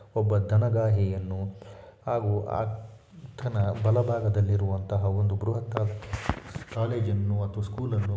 ಒಬ್ಬ ದನ ಗಾಹಿಯನ್ನು ಹಾಗು ಆ ದನ ಬಲಬಾಗಲ್ಲಿರುವಂತಹ ಒಂದು ಬೃಹತ್ತಾದ ಕಾಲೇಜ್ ಅನ್ನು ಅಥವಾ ಸ್ಕೂಲ್ ಅನ್ನು--